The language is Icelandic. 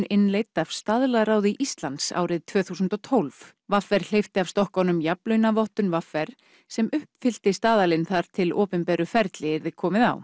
innleidd af Staðlaráði Íslands árið tvö þúsund og tólf v r hleypti af stokkunum jafnlaunavottun v r sem uppfyllti staðalinn þar til opinberu ferli yrði komið á